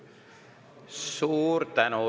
Suur tänu!